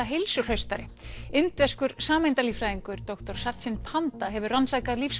heilsuhraustari indverskur doktor Satchin Panda hefur rannsakað